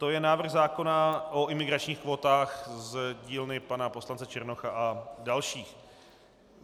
To je návrh zákona o imigračních kvótách z dílny pana poslance Černocha a dalších.